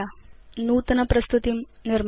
नूतन प्रस्तुतिं निर्मातु